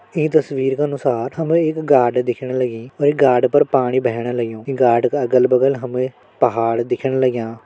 ईं तस्वीर का अनुसार हमे एक गाड दिखण लगीं और गाड पर पाणी बहण लग्युं गाड का अलग बगल हमे पहाड़ दिखण लग्यां।